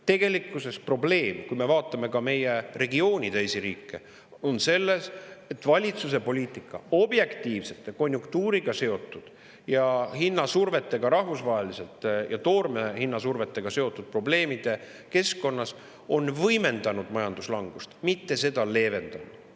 Tegelikkuses on probleem selles, kui me vaatame meie regiooni teisi riike, et valitsuse poliitika objektiivsete, konjunktuuriga seotud ja hinnasurvetega rahvusvaheliselt ning toorme hinnasurvetega seotud probleemide keskkonnas on võimendanud majanduslangust, mitte seda leevendanud.